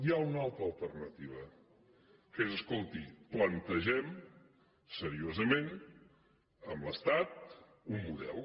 hi ha una altra alternativa que és escolti plantegem seriosament amb l’estat un model